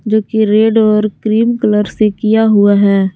जो कि रेड और क्रीम कलर से किया हुआ है।